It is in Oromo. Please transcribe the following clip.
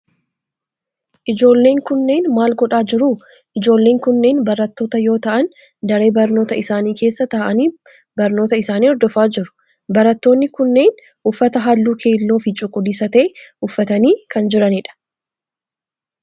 Ijoolleen kunneen maal godhaa jiru? Ijoolleen kunneen barattoota yoo ta'aan daree barnootaa isaanii keessa ta'aani barnoota isaanii hordofaa jiru. Barattoonni kunneen uffata halluu keelloo fi cuquliisa ta'e uffatanii kan jiranidha.